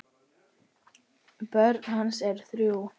Börn hans eru þrjú.